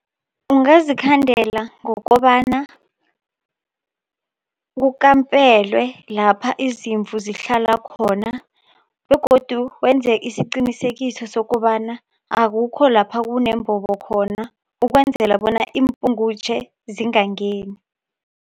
Ungazikhandela ngokobana kukampelwe lapha izimvu zihlala khona begodu wenze isiqinisekiso sokobana akukho lapha kunembobo khona ukwenzela bona iimpungutjhe zingangeni.